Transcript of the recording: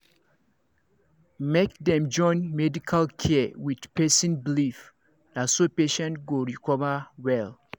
make dem join medical care with person believe na so patient go recover well